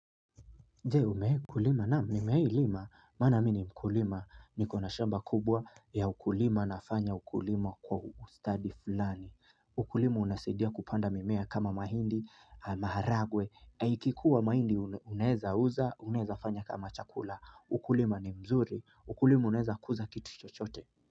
Je umewahi kulima naam nimewai lima maana mimi ni mkulima nikona shamba kubwa ya ukulima nafanya ukulima kwa ustadi fulani ukulima unasadia kupanda mimea kama mahindi, maharagwe ikikua mahindi unaeza uza, unaeza fanya kama chakula ukulima ni mzuri ukulima unaeza kuza kitu chochote.